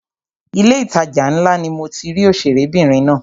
Ilé ìtajà ńlá ni mo ti rí òṣèré obìnrin náà.